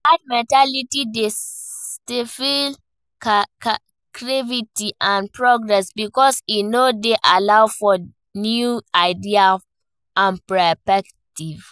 Dat mentality dey stifle creativity and progress because e no dey allow for new ideas and perspectives.